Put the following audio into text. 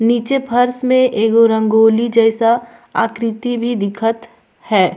नीचे फर्स मे रंगोली जैसा एगो आकृति भी दिखत हैं।